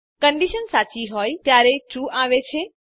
condition સાચી હોય ત્યારે ટ્રૂ આવે છે